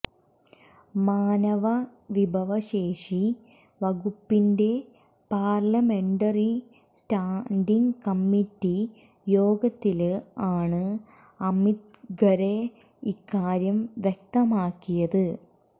മാനവ വിഭശേഷി വകുപ്പിന്റെ പാര്ലമെന്ററി സ്റ്റാന്റിംഗ് കമ്മിറ്റി യോഗത്തില് ആണ് അമിത് ഖരെ ഇക്കാര്യം വ്യക്തമാക്കിയത്